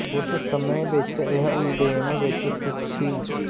ਉਸ ਸਮੇਂ ਵਿੱਚ ਇਹ ਓਲਿਧੇਮ ਵਿੱਚ ਸਥਿਤ ਸੀ